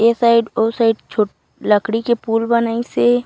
ए side ओ side छोट लकड़ी के पूल बनईस हे।